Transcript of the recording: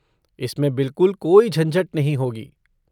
इसमें बिलकुल कोई झंझट नहीं होगी।